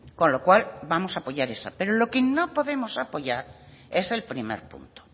con lo cual vamos a apoyar esa pero lo que no podemos apoyar es el primer punto